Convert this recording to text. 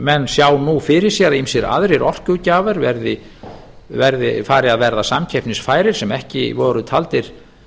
menn sjá nú fyrir sér að ýmsir aðrir orkugjafar fari að verða samkeppnisfærir sem ekki voru taldir